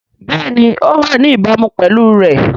Bẹ́ẹ̀ni ó wà ní ìbámu pẹ̀lú rẹ̀